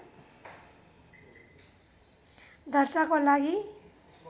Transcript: दर्ताको लागि